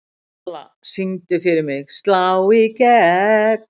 Kalla, syngdu fyrir mig „Slá í gegn“.